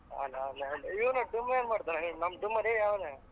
ಆಗ್ಲಿ ಆಗ್ಲಿ ಇವ್ನ್ ಡುಮ್ಮಾ ಏನ್ಮಾಡ್ತಾನೆ ನಮ್ ಡುಮ್ಮಾ ಲೇ ಅವ್ನ್